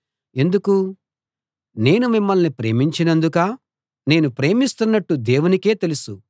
ఎందుకు నేను మిమ్మల్ని ప్రేమించనందుకా నేను ప్రేమిస్తున్నట్టు దేవునికే తెలుసు